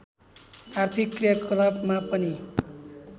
आर्थिक क्रियाकलापमा पनि